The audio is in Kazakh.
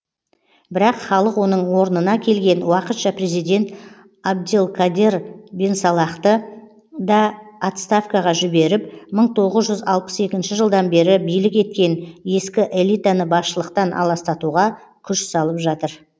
бірақ халық оның орнына келген уақытша президент абделкадер бенсалахты да отставкаға жіберіп мың тоғыз жүз алпыс екінші жылдан бері билік еткен ескі элитаны басшылықтан аластатуға күш салып жатыр